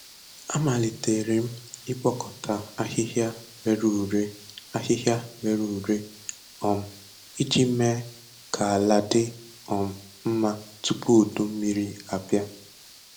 Amalitere m ịkpokōta ahịhịa rere ure ahịhịa rere ure um iji mee ka ala dị um mma tupu udummiri abịa.